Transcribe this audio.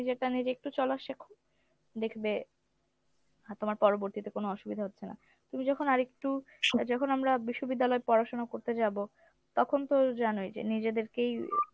নিজে একটু চলা শেখো দেখবে, তোমার পরবর্তীতে কোনো অসুবিধা হচ্ছে না। তুমি যখন আর একটু আহ যখন আমরা বিশ্ববিদ্যালয়ে পড়াশুনা করতে যাব তখন তো জানোই যে নিজেদেরকেই